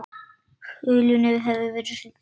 Hulunni hafði verið svipt frá.